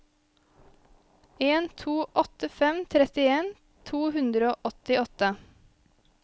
en to åtte fem trettien to hundre og åttiåtte